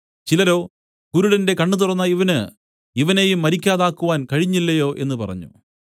ചിലരോ കുരുടന്റെ കണ്ണ് തുറന്ന ഇവന് ഇവനെയും മരിക്കാതാക്കുവാൻ കഴിഞ്ഞില്ലയോ എന്നു പറഞ്ഞു